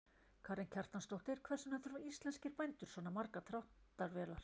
Karen Kjartansdóttir: Hvers vegna þurfa íslenskir bændur svona margar dráttarvélar?